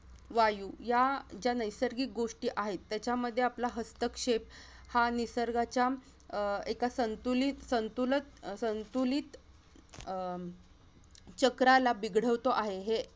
वायू या ज्या नैसर्गिक गोष्टी आहेत त्याच्यामध्ये आपला हस्तक्षेप हा निसर्गाच्या अह एका संतुलित-संतुलत-संतुलित अह चक्राला बिघडवतो आहे हे